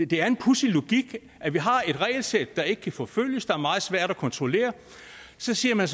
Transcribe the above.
det er en pudsig logik at vi har et regelsæt der ikke kan forfølges der er meget svært at kontrollere og så siger man